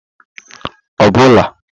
obula